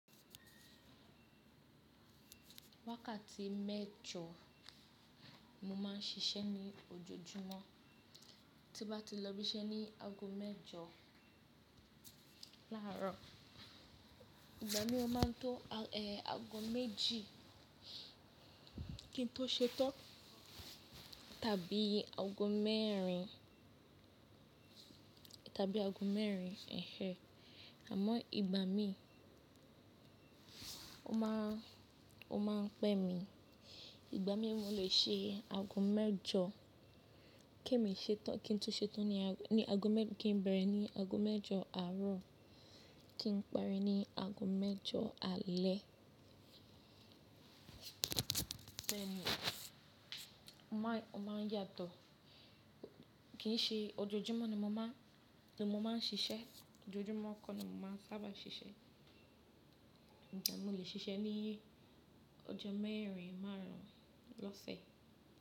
Wákàtí mẹ́jọ ni mo máa ń ṣiṣẹ́ ní ojoojúmọ́, tí bá ti lọ bí iṣẹ́ ní ago mẹ́jọ láàárọ̀, ìgbà mí ó máa ń tó ago méjì kí n tó ṣetán, tàbí ago mẹ́rin, tàbí ago mẹ́rin, ehen. Àmọ́ ìgbà mí ó máa ń pẹ́ mi, ìgbà mí mo lè ṣe ago mẹ́jọ, ké mi ṣe tán, kí n tó ṣetán ní ago mẹ́-- kí n bẹ̀rẹ̀ ní ago mẹ́jọ àárọ̀ kí n pari ní ago mẹ́jọ alẹ́. Bẹ́ẹ̀ ni, ó máa ń yàtọ̀. Kì í ṣe ojoojúmọ́ ni mo máa ń, ní mo máa ń ṣiṣẹ́, ojoojúmọ́ kó ni mo máa ń sábà ṣiṣẹ́, ṣùgbọ́n mo lè ṣiṣẹ́ ní ọjọ́ mẹ́rin, márùn-ún, lọ́sẹ̀.